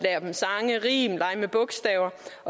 rim og lege med bogstaver